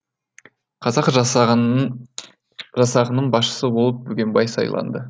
қазақ жасағының басшысы болып бөгенбай сайланды